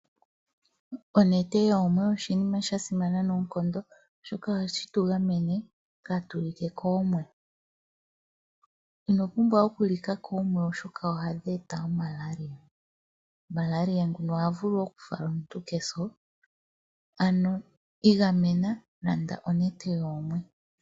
Onete yoomwe oshinima shasimana noonkondo oshoka ohashi tu ganene kaatulike koomwe, ino pumbwa okulika koomwe oshoka ohadhi eta omalaria, malaria nguno oha vulu wo okufala omuntu keso ano igamena landa onete yoomwe.